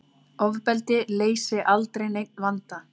Ofbeldi leysi aldrei neinn vanda